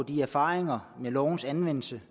de erfaringer med lovens anvendelse